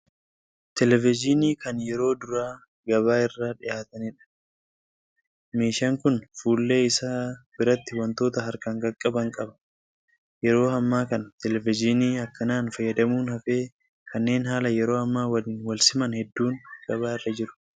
Televizhinii kan yeroo duraa gabaa irra dhiyaataniidha. Meeshaan kun fuullee isaa biratti wantoota harkaan qaqqaban qaba. Yeroo hammaa kana 'televiizhinii' akkanaan fayyadamuun hafee kanneen haala yeroo ammaa waliin wal siman hedduun gabaa irra jiru.